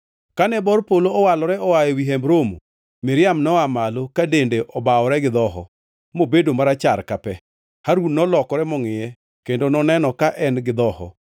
Kane bor polo owalore oa ewi Hemb Romo, Miriam noa malo ka dende obawore gi dhoho mobedo marachar ka pe. Harun nolokore mongʼiye kendo noneno ka en-gi dhoho,